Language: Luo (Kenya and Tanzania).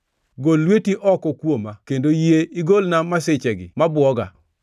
Gol lweti oko kuoma kendo iyie igolna masichegi mabwoga.